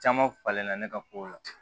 Caman falen na ne ka kow la